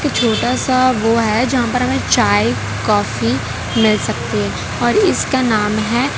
छोटा सा वो है जहां पर हमे चाय काफी मिल सकती है और इसका नाम है--